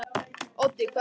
Oddi, hvað er klukkan?